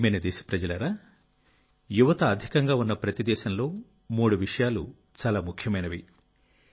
నా ప్రియమైన దేశప్రజలారా యువత అధికంగా ఉన్న ప్రతి దేశంలో మూడు విషయాలు చాలా ముఖ్యమైనవి